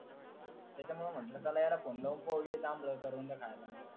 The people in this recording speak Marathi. त्याचमुळे म्हंटलं त्याला फोन लाव म्हणजे ये जांभळं करवंद खायला